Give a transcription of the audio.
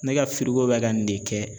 Ne ka bɛ ka nin de kɛ.